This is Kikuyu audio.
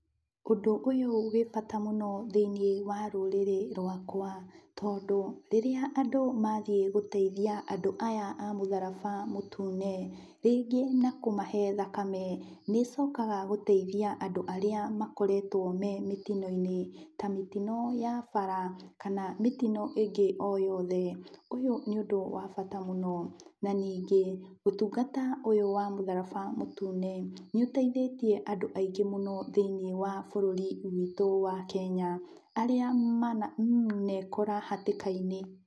Ũndũ ũyũ wĩ bata mũno thiĩnĩ wa rũrĩrĩ rwakwa, tondũ rĩrĩa andũ mathiĩ gũteithia andũ aya a mũtharaba mũtune, rĩngĩ na kũmahe thakame, nĩcokaga gũteithia andũ arĩa makoretwo me mĩtinoinĩ ta mĩtino ya bara, kana mĩtino ingĩ o yothe. Ũyũ nĩ ũndũ wa bata mũno, na ningĩ ũtungata ũyũ wa mũtharaba mũtune nĩũteithĩtie andũ aingĩ mũno thĩiniĩ wa bũrũrĩ witũ wa Kenya. Arĩa mana ekora hatĩkainĩ.